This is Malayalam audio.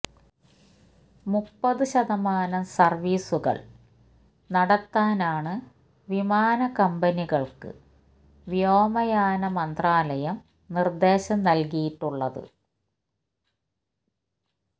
മുപ്പതു ശതമാനം സര്വീസുകള് നടത്താനാണ് വിമാന കമ്പനികള്ക്ക് വ്യോമയാന മന്ത്രാലയം നിര്ദേശം നല്കിയിട്ടുള്ളത്